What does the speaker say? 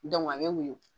a bɛ woyo